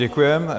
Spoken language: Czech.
Děkuji.